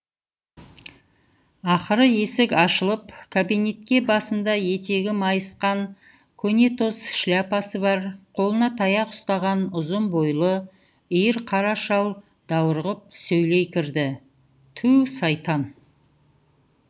ақыры есік ашылып кабинетке басында етегі майысқан көнетоз шляпасы бар қолына таяқ ұстаған ұзын бойлы иір қара шал даурығып сөйлей кірді ту сайтан